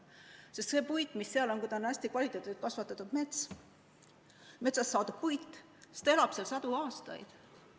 Sest see puit, mis seal on, kui ta on hästi kasvatatud metsast saadud puit, siis ta püsib sadu aastaid.